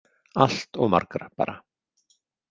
Allt of margar, bara.